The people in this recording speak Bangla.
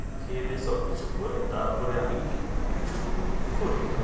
খেয়ে-দেয়ে সবকিছু করে তারপরে আমি করি।